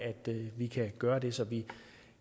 vi kan gøre det så vi